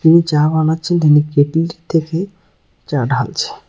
যিনি চা বানাচ্ছেন তিনি কেটলি থেকে চা ঢালছে।